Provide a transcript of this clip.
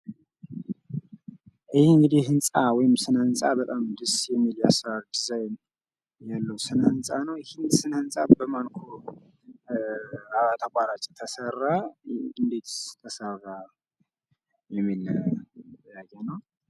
ይህ እንግዲህ ህንጻ ወይም ስነ ህንጻ በታም የሚያምር ደስ የሚል ድዛይን ያለው ስነ ህንጻ ነው። ይህ ስነ ህንጻ በማንኮ ተቋራጭ ተሰራ እንዴትስ ተሰራ የሚል ጥያቄ ነው።